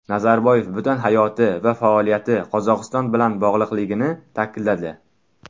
Nazarboyev butun hayoti va faoliyati Qozog‘iston bilan bog‘liqligini ta’kidladi.